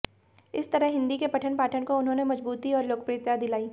इस तरह हिंदी के पठन पाठन को उन्होंने मजबूती और लोकप्रियता दिलाई